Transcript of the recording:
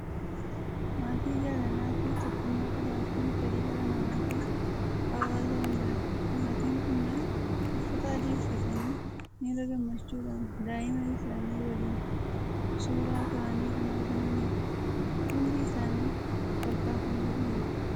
Maatii jaalalaa fi tokkummaa qabaachuun fedhii dhala nama fi hawaasa hundaati! Maatiin kunneen uffata adii uffatanii, miira gammachuudhaan daa'ima isaanii waliin suuraa ka'anii kan argmanidha. Hundi isaanii kolfaa kan jiranidha.